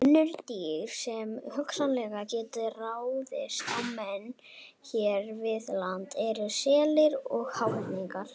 Önnur dýr sem hugsanlega gætu ráðist á menn hér við land eru selir og háhyrningar.